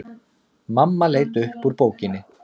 Mamma leit upp úr bókinni.